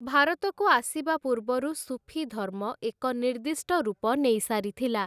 ଭାରତକୁ ଆସିବା ପୂର୍ବରୁ ସୁଫିଧର୍ମ ଏକ ନିର୍ଦ୍ଦିଷ୍ଟ ରୂପ ନେଇ ସାରିଥିଲା ।